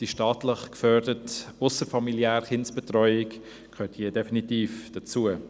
Die staatlich geförderte ausserfamiliäre Kinderbetreuung gehört definitiv dazu.